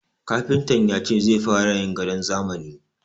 Kafintan ya ce zai fara yin gadon zamani.